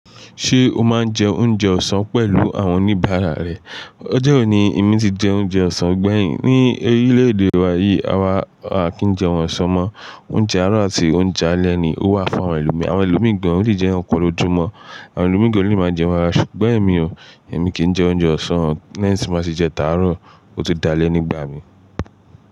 Ṣé o máa ń jẹ oúnjẹ ọ̀sán pẹ̀lú àwọn oníbàárà rẹ? Ọjọ́ wò ní èmi ti jẹ oúnjẹ ọ̀sán. Ṣùgbọ́n ní orílẹ̀-èdè wa yìí, àwa kì í jẹun ọ̀sán mọ́. Oúnjẹ àárọ̀ àti oúnjẹ alẹ́ ni ó wà fún àwọn ẹlòmíràn. Àwọn ẹlòmí gán olè jẹ ẹ̀kàn lójú mọ́. Àwọn ẹlòmí gán ò lè máa jẹ. Ṣùgbọ́n èmi ò, èmi kì ń jẹ oúnjẹ ọ̀sán. Lẹ́yìn tí n bá ti jẹ tàárò ó tún d'alẹ́ nígbà mi.